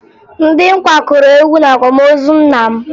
Ndị nkwa kụrụ egwu n'akwamozi nna m